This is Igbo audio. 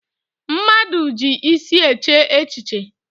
Mmadụ ji isi eche echiche.